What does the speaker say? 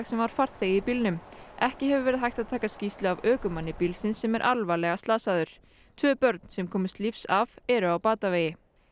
sem var farþegi í bílnum ekki hefur verið hægt að taka skýrslu af ökumanni bílsins sem er alvarlega slasaður tvö börn sem komust lífs af eru á batavegi